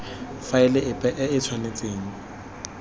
faele epe e e tshwanetseng